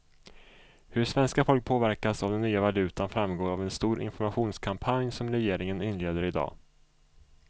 Hur svenska folket påverkas av den nya valutan framgår av en stor informationskampanj som regeringen inleder i dag.